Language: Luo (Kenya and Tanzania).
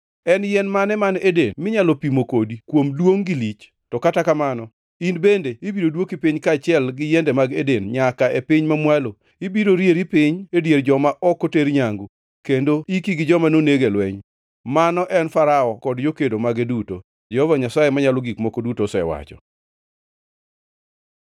“En yien mane man Eden minyalo pimo kodi kuom duongʼ gi lich? To kata kamano, in bende ibiro dwoki piny kaachiel gi yiende mag Eden nyaka e piny mamwalo. Ibiro rieri piny e dier joma ok oter nyangu, kendo iki gi joma noneg e lweny.” Mano en Farao kod jokedo mage duto, Jehova Nyasaye Manyalo Gik Moko Duto osewacho.